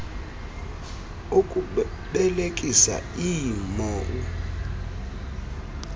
okubelekisa ii mou